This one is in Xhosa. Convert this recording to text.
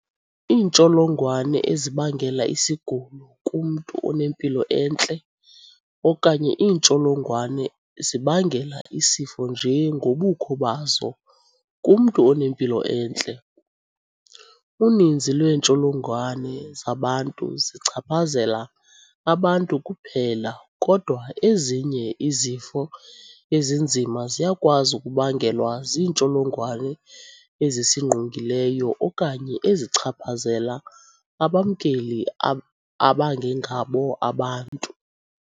Iintsholongwane ezibangela isigulo kumntu onempilo entle okanye iintsholongwane zibangela isifo nje ngobukho bazo kumntu onempilo entle. Uninzi lweentsholongwane zabantu zichaphazela abantu kuphela kodwa ezinye izifo ezinzima ziyakwazi ukubangelwa ziintsholongwane ezisingqongileyo okanye ezichaphazela abamkeli abangengabo abantu.